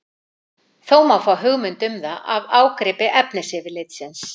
Þó má fá hugmynd um það af ágripi efnisyfirlits.